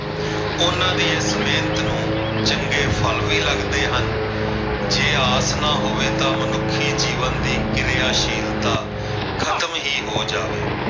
ਉਹਨਾਂ ਦੀ ਇਸ ਮਿਹਨਤ ਨੂੰ ਚੰਗੇ ਫਲ ਵੀ ਲੱਗਦੇ ਹਨ ਜੇ ਆਸ ਨਾ ਹੋਵੇ ਤਾਂ ਮਨੁੱਖੀ ਜੀਵਨ ਦੀ ਕਿਰਿਆਸ਼ੀਲਤਾ ਖ਼ਤਮ ਹੀ ਹੋ ਜਾਵੇ।